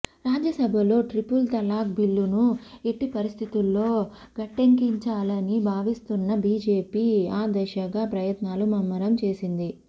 రాజ్యసభలో ట్రిపుల్ తలాక్ బిల్లును ఎట్టిపరిస్థితుల్లో గట్టెక్కించాలని భావిస్తున్న బీజేపీ ఆ దిశగా ప్రయత్నాలు ముమ్మరం చేసింది